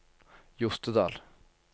Jostedal